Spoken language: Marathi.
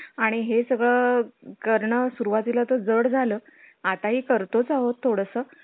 हम्म उद्या येणार आहे त्यो केडगामध्ये टाकल.